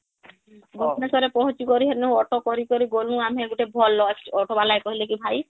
ଭୁବନେଶ୍ୱର ରେ ପହଂଚି କରି ହେନୁ auto କରି କରି ଗ୍ନୁ ଆମେ, ଗୁଟେ ଭଲ auto ଵାଲା କହିଲେକି ଭାଇ